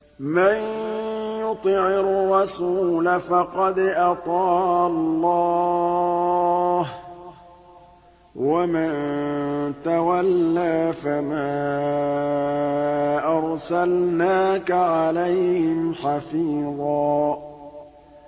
مَّن يُطِعِ الرَّسُولَ فَقَدْ أَطَاعَ اللَّهَ ۖ وَمَن تَوَلَّىٰ فَمَا أَرْسَلْنَاكَ عَلَيْهِمْ حَفِيظًا